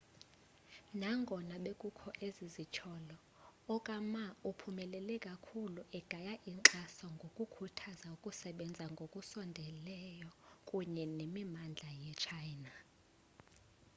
nangona bekukho ezi zityholo okama uphumelele kakhulu egaya inkxaso ngokukhuthaza ukusebenza ngokusondeleyo kunye nemimandla yetshayina